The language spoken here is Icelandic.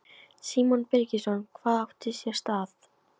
Símon Birgisson: Hvað átti sér stað?